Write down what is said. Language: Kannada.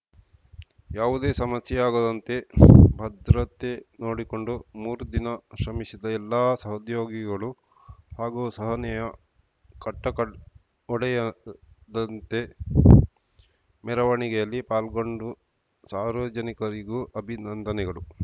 ಯಾವುದೇ ಸಮಸ್ಯೆಯಾಗದಂತೆ ಭದ್ರತೆ ನೋಡಿಕೊಂಡು ಮೂರು ದಿನ ಶ್ರಮಿಸಿದ ಎಲ್ಲಾ ಸಹೋದ್ಯೋಗಿಗಳು ಹಾಗೂ ಸಹನೆಯ ಕಟ್ಟೆಕೊಡ್ ಒಡೆಯದಂತೆ ಮೆರವಣಿಗೆಯಲ್ಲಿ ಪಾಲ್ಗೊಂಡು ಸಾರ್ವಜನಿಕರಿಗೂ ಅಭಿನಂದನೆಗಳು